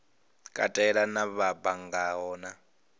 katela na vha banngaho na